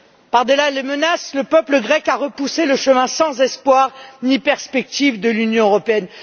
Par delà les menaces, le peuple grec a repoussé le chemin sans espoir ni perspectives de l'Union européenne.